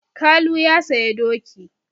Kalu ya saya doki.